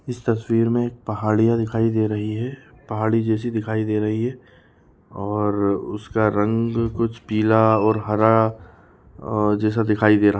इस तस्वीर मे पहाड़ी या दिखाई दे रही है पहाड़ी जैसी दिखाई दे रही है और उसका रंग कुछ पीला और हरा अ-ह-जैसा दिखाई दे रहा--